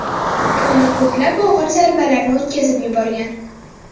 Toni ko‘plab og‘ir zarbalarni o‘tkazib yuborgan.